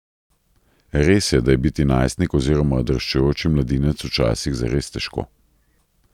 Res je, da je biti najstnik oziroma odraščajoči mladinec včasih zares težko.